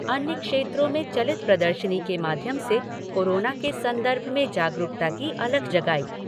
अन्य क्षेत्रों में चलित प्रदर्शनी के माध्यम से कोरोना के संदर्भ में जागरूकता की अलख जगाई।